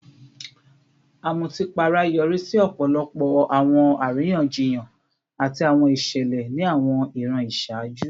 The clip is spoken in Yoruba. Amutipara yori si ọpọlọpọ awọn ariyanjiyan ati awọn iṣẹlẹ ni awọn iran iṣaaju